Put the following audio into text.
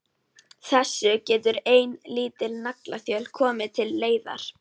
Þessu getur ein lítil naglaþjöl komið til leiðar.